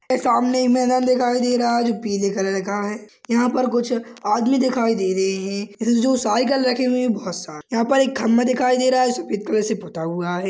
सामने मैदान दिखाई दे रहा है जो पीले कलर का है यहां पर कुछ आदमी दिखाई दे रहे हैं यह जो साइकिल रखे हुए है बहुत सारी यहां पें एक खंबा दिखाई दे रहा है सफेद कलर से पोता हुआ है।